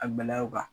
A bɛlɛw kan